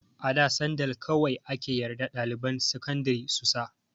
A da sandal kawai ake yarda ɗaliban sakandari su sa.